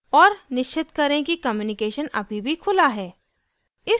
और निश्चित करें कि कम्यूनिकेशन अभी भी खुला है